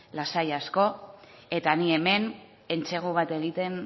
lasai asko eta ni hemen entsegu bat egiten